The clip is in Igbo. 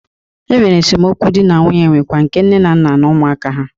Enwere esemokwu dị na nwunye nwekwa nke nne na nna na ụmụaka ha.